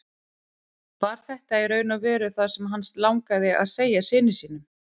Var þetta í raun og veru það sem hann langaði að segja syni sínum?